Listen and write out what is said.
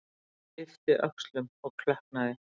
Ég yppti öxlum og klökknaði.